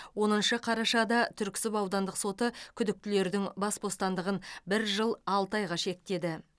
оныншы қарашада түрксіб аудандық соты күдіктілердің бас бостандығын бір жыл алты айға шектеді